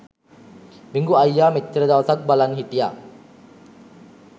බිඟු අයියා මෙච්චර දවසක් බලන් හිටිය